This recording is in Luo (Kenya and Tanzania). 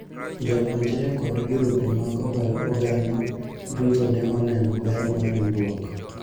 jopuonjre kod girube mag oganda duto ne oneno ber mar riwruok